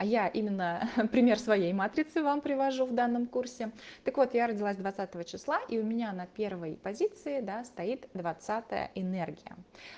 а я именно пример своей матрицы вам привожу в данном курсе так вот я родилась двадцатого числа и у меня на первой позиции да стоит двадцатая энергия